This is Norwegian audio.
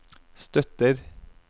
støtter